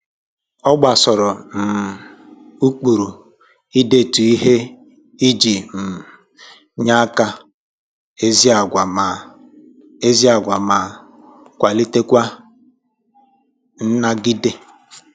O gbasoro um ụkpụrụ idetu ihe iji um nye akara ezi agwa ma ezi agwa ma kwalitekwa nnagide